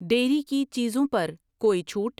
Dairy کی چیزوں پر کوئی چھوٹ؟